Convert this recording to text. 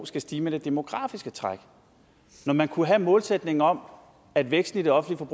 skal stige med det demografiske træk når man kunne have målsætningen om at væksten i det offentlige